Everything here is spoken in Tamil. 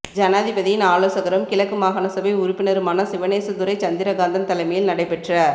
ஜனாதிபதியின் ஆலோசகரும் கிழக்கு மாகாண சபை உறுப்பினருமான சிவனேசதுரை சந்திரகாந்தன் தலைமையில் நடைபெற்ற